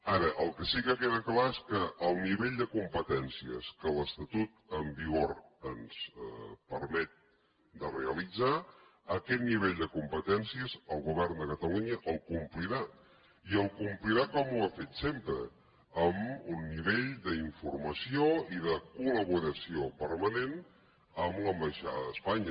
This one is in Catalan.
ara el que sí que queda clar és que el nivell de competències que l’estatut en vigor ens permet de realitzar aquest nivell de competències el govern de catalunya el complirà i el complirà com ho ha fet sempre amb un nivell d’informació i de col·laboració permanent amb l’ambaixada d’espanya